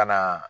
Ka na